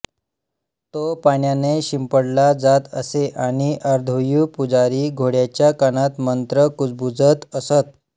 तो पाण्याने शिंपडला जात असे आणि अध्वर्यू पुजारी घोडयाच्या कानात मंत्र कुजबूजत असत